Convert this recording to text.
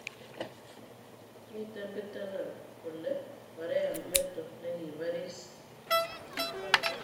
miten pitina kolee Korea meto negipariis